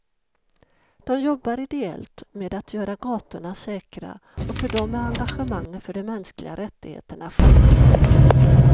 De jobbar ideellt med att göra gatorna säkra, och för dem är engagemanget för de mänskliga rättigheterna självklart.